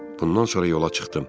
Bundan sonra yola çıxdım.